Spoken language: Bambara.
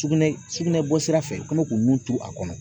Sugunɛ sugunɛ bɔsira fɛ u kɛ mɛ k'u nun turu a kɔnɔ.